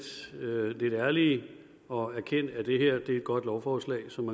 ærlige og erkend at det her er et godt lovforslag som